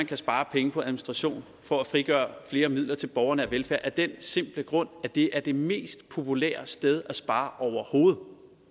kan spares penge på administration for at frigøre flere midler til borgernær velfærd af den simple grund at det er det mest populære sted at spare overhovedet